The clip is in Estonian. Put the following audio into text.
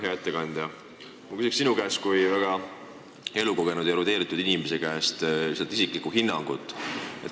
Hea ettekandja, ma küsin sinu kui väga elukogenud ja erudeeritud inimese käest isiklikku hinnangut.